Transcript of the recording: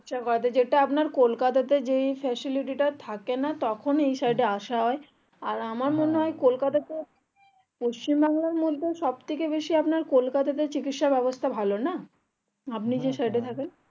কোলকাতাতে যখন facilities টা থাকেনা তখন এই side এ আসা হয় আর আমার মনে হয় কোলকাতাতে পশ্চিম বাংলার মধ্যে সব থেকে বেশি আপনার কোলকাতাতে চিকিৎসা ব্যাবস্তা ভালো না আপনি যে side এ থাকেন